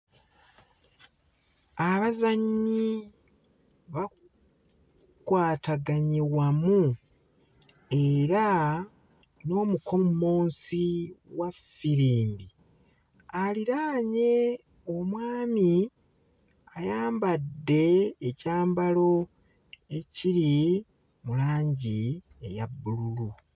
Abazannyi bakwataganye wamu era n'omukommonsi wa ffirimbi aliraanye omwami ayambadde ekyambalo ekiri mu langi eya bbululu.